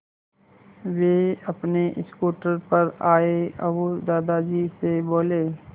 वे अपने स्कूटर पर आए और दादाजी से बोले